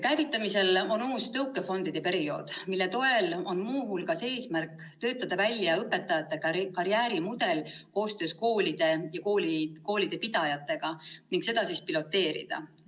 Käivitamisel on uus tõukefondide periood, mille toel on muu hulgas eesmärk töötada välja õpetajate karjäärimudel koostöös koolide ja koolipidajatega ning seda piloteerida.